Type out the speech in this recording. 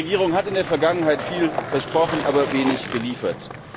Die griechische Regierung hat in der Vergangenheit viel versprochen, aber wenig geliefert.